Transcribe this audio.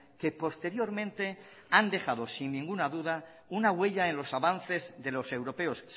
que posteriormente han dejado sin ninguna duda una huella en los avances de los europeos